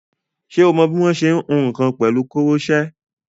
Ṣé o mọ bí wọ́n ṣe ń hun nǹkan pẹ̀lú koroṣé?